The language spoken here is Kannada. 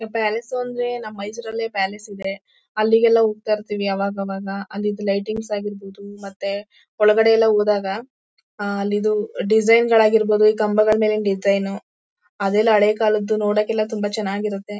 ಪ್ಯಾಲೇಸ್ ಅಂದ್ರೆ ನಮ್ ಮೈಸೂರಲ್ಲೇ ಪ್ಯಾಲೇಸ್ ಇದೆ ಅಲ್ಲಿಗೆಲ್ಲ ಹೋಗ್ತಾ ಇರ್ತಿವಿ ಅವಾಗವಾಗ ಅಲ್ಲಿದು ಲೈಟಿಂಗ್ಸ್ ಆಗಿರ್ಬಹುದು ಮತ್ತೆ ಒಳಗಡೆ ಎಲ್ಲಾ ಹೋದಾಗ ಆಹ್ಹ್ ಅಲ್ಲಿದು ಡಿಸೈನ್ಗಳು ಆಗಿರ್ಬಹುದು ಕಂಬಗಳ್ ಮೇಲಿನ್ ಡಿಸೈನು ಅದೆಲ್ಲಾ ಹಳೆ ಕಾಲದ್ದು ನೊಡೋಕೆಲ್ಲ ತುಂಬಾ ಚೆನ್ನಾಗಿರುತ್ತೆ.